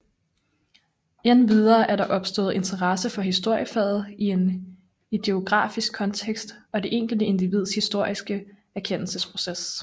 Endvidere er der opstået interesse for historiefaget i en ideografisk kontekst og det enkelte individs historiske erkendelsesproces